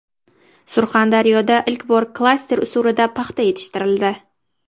Surxondaryoda ilk bor klaster usulida paxta yetishtirildi.